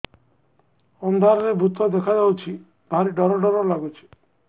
ଅନ୍ଧାରରେ ଭୂତ ଦେଖା ଯାଉଛି ଭାରି ଡର ଡର ଲଗୁଛି